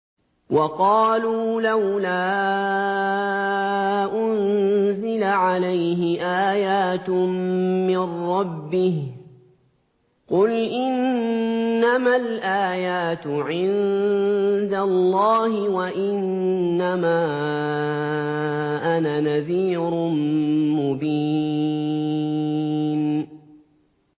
وَقَالُوا لَوْلَا أُنزِلَ عَلَيْهِ آيَاتٌ مِّن رَّبِّهِ ۖ قُلْ إِنَّمَا الْآيَاتُ عِندَ اللَّهِ وَإِنَّمَا أَنَا نَذِيرٌ مُّبِينٌ